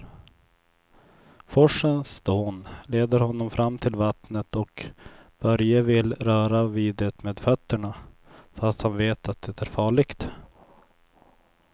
Forsens dån leder honom fram till vattnet och Börje vill röra vid det med fötterna, fast han vet att det är farligt.